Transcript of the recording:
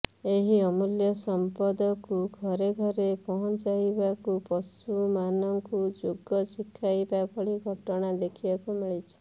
ଏହି ଅମୂଲ୍ୟ ସଂପଦକୁ ଘରେ ଘରେ ପହଞ୍ଚାଇବାକୁ ପଶୁ ମାନଙ୍କୁ ଯୋଗ ଶିଖାଇବା ଭଳି ଘଟଣା ଦେଖିବାକୁ ମିଳିଛି